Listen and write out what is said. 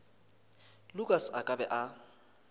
lukas a ka be a